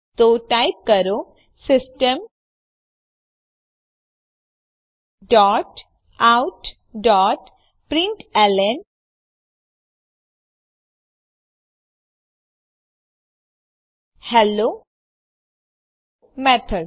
તો ટાઈપ કરો system dot out dot println hello method